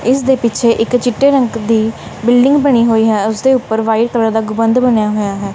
ਇਸਦੇ ਪਿੱਛੇ ਇੱਕ ਚਿੱਟੇ ਰੰਗ ਦੀ ਬਿਲਡਿੰਗ ਬਣੀ ਹੋਈ ਹੈ ਉਸਦੇ ਉੱਪਰ ਵਾਈਟ ਕਲਰ ਦਾ ਗੁਬੰਦ ਬਣਿਆ ਹੋਇਆ ਹੈ।